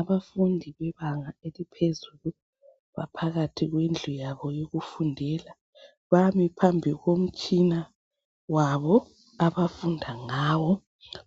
Abafundi bebanga eliphezulu. Baphakathi kwendlu yabo yokufundela. Bami phambi komtshina wabo, abafunda ngawo.